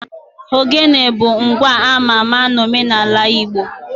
Ogene bụ ngwa ama ama n'omenala Igbo